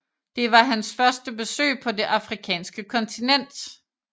Det var hans første besøg på det afrikanske kontinent